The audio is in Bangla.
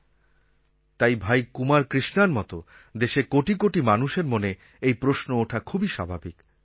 আর তাই ভাই কুমার কৃষ্ণার মত দেশের কোটি কোটি মানুষের মনে এই প্রশ্ন ওঠা খুবই স্বাভাবিক